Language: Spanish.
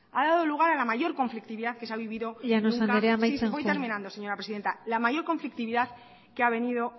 ha dado lugar a la mayor conflictividad que ha venido nunca sufriendo el ente llanos anderea amaitzen joan sí voy terminando